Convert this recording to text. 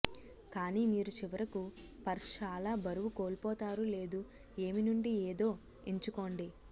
కానీ మీరు చివరకు పర్స్ చాలా బరువు కోల్పోతారు లేదు ఏమి నుండి ఏదో ఎంచుకోండి